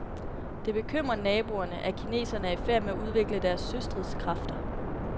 Det bekymrer naboerne, at kineserne er i færd med at udvikle deres søstridskræfter.